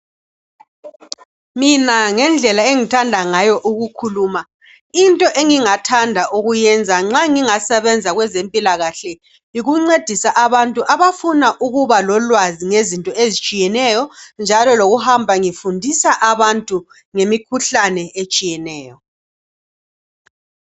Mina ngendlela engithanda ngayo ukukhuluma into engingayenza nxa ngingasebenza kwezempilakahle yikuncedisa abantu abafuna ukubalo lwazi ngezinto ezitshiyeneyo njalo lokuhamba ngifundisa abantu ngemikhuhlane etshiyeneyo